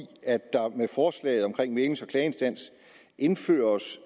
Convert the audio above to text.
at der med forslaget om klageinstans indføres